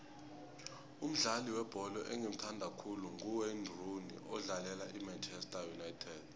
umdlali webholo engimuthandako nguwayne rooney odlalela imanchester united